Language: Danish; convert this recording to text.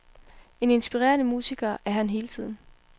En inspirerende musiker er han hele tiden.